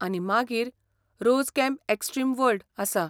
आनी मागीर 'rose camp extreme world' आसा.